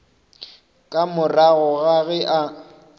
ka morago ga ge a